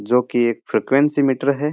जो कि एक फ्रीक्वेंसी मीटर है।